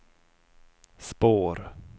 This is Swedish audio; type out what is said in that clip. spår